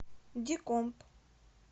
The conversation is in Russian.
дикомп